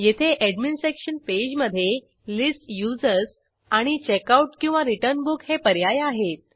येथे admin section पेजमधे list users आणि checkoutरिटर्न बुक हे पर्याय आहेत